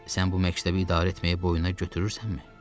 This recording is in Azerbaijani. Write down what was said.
Sən bu məktəbi idarə etməyi boynuna götürürsənmi?